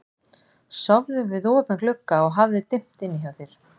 Sofðu við opinn glugga og hafðu dimmt inni hjá þér.